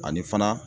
Ani fana